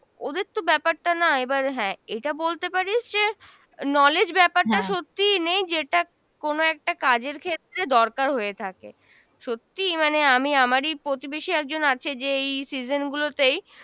ওদের তো ব্যপারটা না, এবার হ্যাঁ এটা বলতে পারিস যে knowledge ব্যাপারটা সত্যিই নেই যেটা কোনো একটা কাজের ক্ষেত্রে দরকার হয়ে থাকে, সত্যিই মানে আমি আমারই প্রতিবেশী একজন আছে যে এই season গুলোতেই